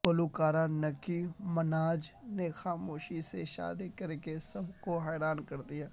گلوکارہ Nicki Minaj نے خاموشی سے شادی کرکے سب کو حیران کردیا